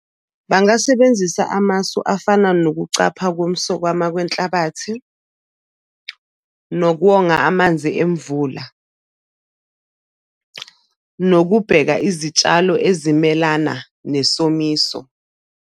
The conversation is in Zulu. Bangasebenzisa amasu afana nokucapha komsokama kwenhlabathi, nokwonga amanzi emvula, nokubheka izitshalo ezimelana nesomiso.